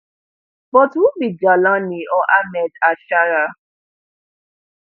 but who be jawlani or ahmed alsharaa